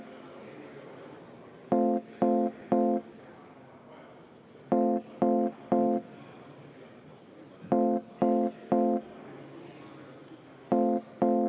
Liina Kersna, palun!